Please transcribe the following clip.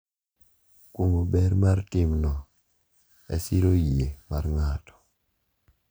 Kuong’o ber mar timno e siro yie mar ng’ato.